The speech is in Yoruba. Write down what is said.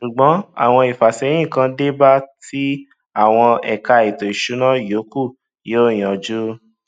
ṣùgbón àwọn ìfàsẹyìn kan dé báa tí àwọn ẹka ètò ìsúná yókù yóò yanjú